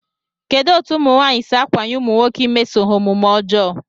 Kedụ etu ụmụnwaanyị si ákwànye ụmụnwoke imeso ha omume ọjọọ?